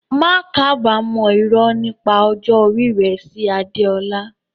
Má kábàámọ̀ irọ́ nípa ọjọ́ orí rẹ sí Adeola.